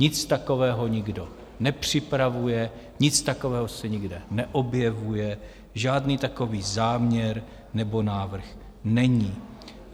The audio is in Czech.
Nic takového nikdo nepřipravuje, nic takového se nikde neobjevuje, žádný takový záměr nebo návrh není.